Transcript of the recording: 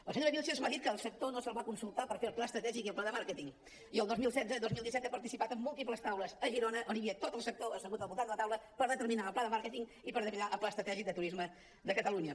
la senyora vílchez m’ha dit que al sector no se’l va consultar per fer el pla estratègic i el pla de màrqueting i el dos mil setze dos mil disset he participat en múltiples taules a girona on hi havia tot el sector assegut al voltant de la taula per determinar el pla de màrqueting i per determinar el pla estratègic de turisme de catalunya